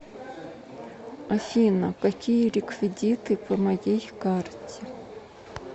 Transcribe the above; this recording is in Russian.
афина какие реквидиты по моей карте